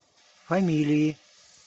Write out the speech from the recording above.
фамилии